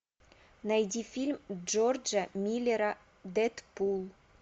найди фильм джорджа миллера дэдпул